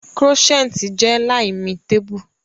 croissant je l'aime table